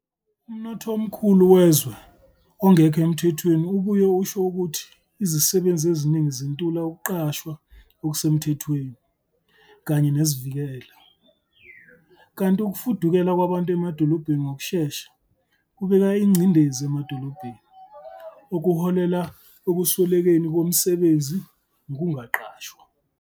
Umnotho omkhulu wezwe ongekho emthethweni ubuye usho ukuthi izisebenzi eziningi zintula ukuqashwa okusemthethweni kanye nezivikelo, kanti ukufudukela kwabantu emadolobheni ngokushesha kubeka ingcindezi emadolobheni, okuholela ekuswelekeni kwemisebenzi nokungaqashwa.